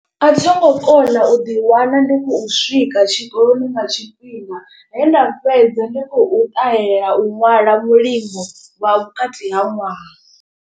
A thi ngo kona u ḓi wana ndi khou swika tshikoloni nga tshifhinga. He nda fhedza ndi khou ṱahela u ṅwala mulimo wa vhukati ha ṅwaha.